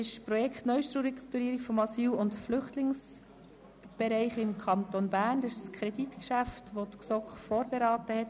Beim Projekt «Neustrukturierung des Asyl- und Flüchtlingsbereichs im Kanton Bern (NA-BE)» handelt es sich um ein Kreditgeschäft, das die GSoK vorberaten hat.